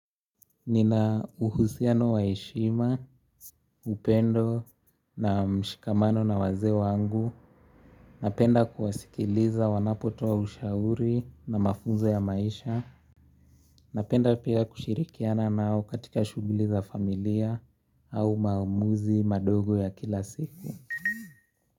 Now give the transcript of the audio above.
Nina uhusiano waeshima, upendo na mshikamano na wazee wangu Napenda kuwasikiliza wanapotoa ushauri na mafunzo ya maisha Napenda pia kushirikiana nao katika shuguliza familia au maumuzi madogo ya kila siku.